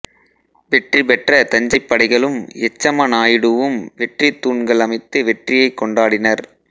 வெற்றி பெற்ற தஞ்சைப் படைகளும் யச்சம நாயுடுவும் வெற்றித் தூண்கள் அமைத்து வெற்றியைக் கொண்டாடினர்